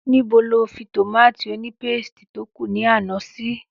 Níbo lo fi tomati ònípéstì tó kù ní àná sí?